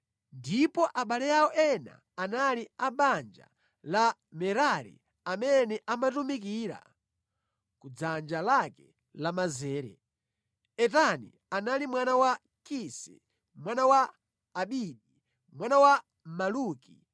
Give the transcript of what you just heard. ndipo abale awo ena anali a banja la Merari amene amatumikira ku dzanja lake lamanzere: Etani anali mwana wa Kisi, mwana wa Abidi, mwana wa Maluki,